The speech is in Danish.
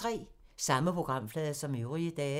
Samme programflade som øvrige dage